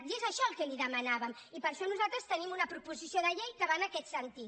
i és això el que li demanàvem i per això nosaltres tenim una proposició de llei que va en aquest sentit